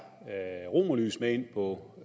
romerlys med ind på